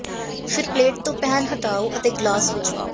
ਫਿਰ ਪਲੇਟ ਤੋਂ ਪੈਨ ਹਟਾਓ ਅਤੇ ਗਲਾਸ ਵਿੱਚ ਪਾਓ